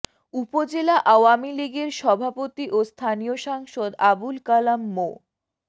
উপজেলা আওয়ামী লীগের সভাপতি ও স্থানীয় সাংসদ আবুল কালাম মো